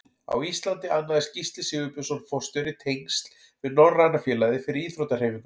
Á Íslandi annaðist Gísli Sigurbjörnsson forstjóri tengsl við Norræna félagið fyrir íþróttahreyfinguna.